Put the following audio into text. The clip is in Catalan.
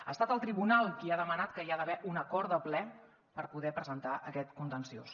ha estat el tribunal qui ha demanat que hi ha d’haver un acord de ple per poder presentar aquest contenciós